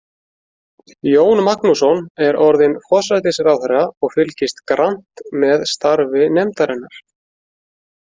Jón Magnússon er orðinn forsætisráðherra og fylgist grannt með starfi nefndarinnar.